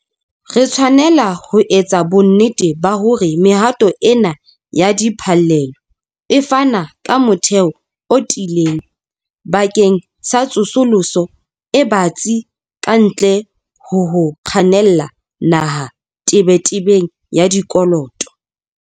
Re tshwanela ho etsa bonnete ba hore mehato ena ya diphallelo e fana ka motheo o tiileng bakeng sa tsosoloso e batsi kantle ho ho kgannela naha tebetebeng ya dikoloto.